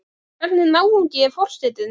Hvernig náungi er forsetinn?